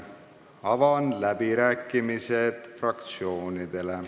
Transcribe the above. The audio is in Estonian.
Avan fraktsioonide läbirääkimised.